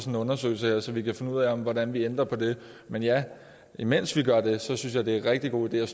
en undersøgelse her så vi kan finde ud af hvordan vi ændrer på det men ja mens vi gør det synes jeg det er en rigtig god idé